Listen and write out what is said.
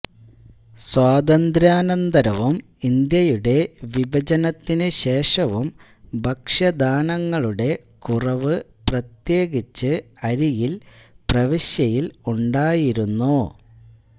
സ്വാതന്ത്ര്യാനന്തരവും ഇന്ത്യയുടെ വിഭജനത്തിനുശേഷവും ഭക്ഷ്യധാന്യങ്ങളുടെ കുറവ് പ്രത്യേകിച്ച് അരിയിൽ പ്രവിശ്യയിൽ ഉണ്ടായിരുന്നു